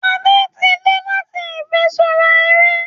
Ada tí dé láti ifiṣura eré